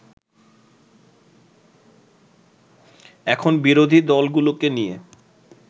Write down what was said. এখন বিরোধী দলগুলোকে নিয়ে